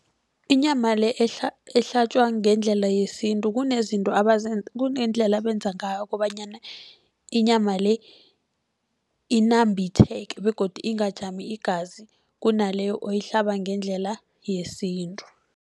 Inyama le ehlatjwa ngendlela yesintu kunezinto kunento abenza ngayo, kobanyana inyama le inambitheke begodu ingajami igazi kunaleyo oyihlaba ngendlela yesintu.